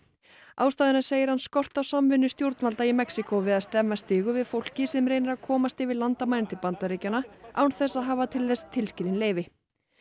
ástæðuna segir hann skort á samvinnu stjórnvalda í Mexíkó við að stemma stigu við fólki sem reynir að komast yfir landamærin til Bandaríkjanna án þess að hafa til þess tilskilin leyfi